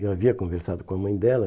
Eu havia conversado com a mãe dela.